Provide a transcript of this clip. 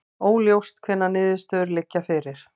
Óljóst hvenær niðurstöðurnar liggja fyrir